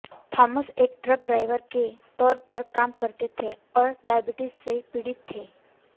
Thomas एक truck driver के तौर पर काम करते थे और डायबिटिज से पीड़ित थे